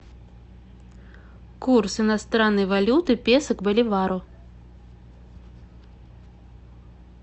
курс иностранной валюты песо к боливару